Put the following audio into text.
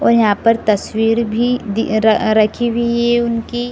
और यहाँ पर तस्वीर भी दी र रखी हुई है उनकी।